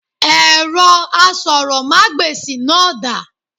Èrọ asọ̀rọ̀mágbèsì náà dà?